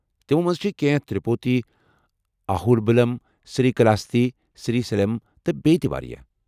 تمو منٛزٕ چھِ کٮ۪نٛہہ تِروُپتی، آہوبِلم، سری کلاہستی، سری سیلم، تہٕ بیٚیہ تہِ وارِیاہ